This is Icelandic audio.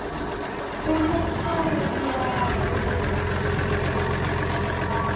Trúhneigð og trúarreynsla eru örugglega þau svið tilfinningalífsins sem ljósfælnust eru og torveldust umfjöllunar.